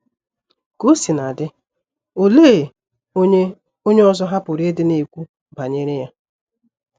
Ka o sina dị, olee onye onye ọzọ ha pụrụ ịdị na-ekwu banyere ya?